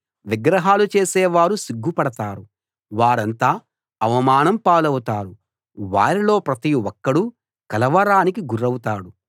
విగ్రహాలు చేసే వారు సిగ్గుపడతారు వారంతా అవమానం పాలవుతారు వారిలో ప్రతి ఒక్కడూ కలవరానికి గురవుతాడు